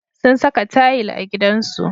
Sun saka tayil a gidansu.